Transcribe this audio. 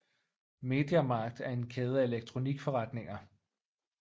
Media Markt er en kæde af elektronikforretninger